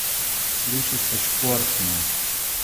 Sliši se športno!